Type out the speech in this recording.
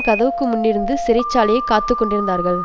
கதவுக்கு முன்னிருந்து சிறைச்சாலையைக்காத்துக்கொண்டிருந்தார்கள்